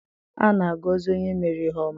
A na-agọzi onye mere ihe ọma.